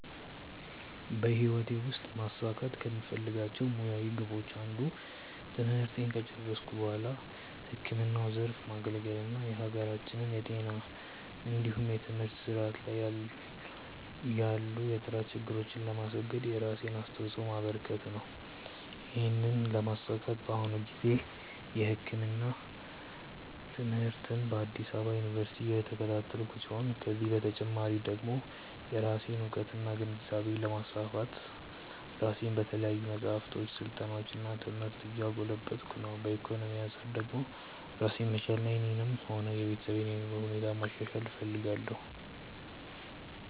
በህይወቴ ውስጥ ማሳካት ከምፈልጋቸው ሙያዊ ግቦች አንዱ ትምህርቴን ከጨረስኩ በኋላ ህክምናው ዘርፍ ማገልገል እና የሀገራችንን የጤና እንዲሁም የትምህርት ስርዓት ላይ ያሉ የጥራት ችግሮችን ለማስወገድ የራሴን አስተዋጾ ማበረከት ነው። ይህንን ለማሳካት በአሁኑ ጊዜ የህክምና ትምህርትን በአዲስ አበባ ዩኒቨርሲቲ እየተከታተልኩ ሲሆን ከዚህ በተጨማሪ ደግሞ የራሴን እውቀትና ግንዛቤ ለማስፋት ራሴን በተለያዩ መጽሐፎች፣ ስልጠናዎች እና ትምህርት እያጎለበትኩ ነው። ከኢኮኖሚ አንጻር ደግሞ ራሴን መቻልና የኔንም ሆነ የቤተሰቦችን የኑሮ ሁኔታ ማሻሻል እፈልጋለሁ።